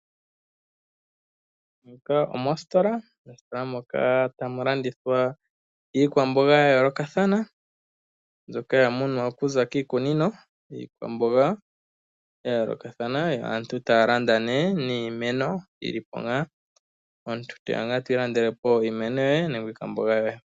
Muka omositola mositola moka tamu landithwa iikwamboga yayolokathana mbyoka yamunwa okuza kiikunino. Iikwamboga yayolokathana yo aantu taa landa nee niimeno yilipo ngaa omuntu toya nga eto ilandelepo iimeno yoye nenge iikwamboga yoye.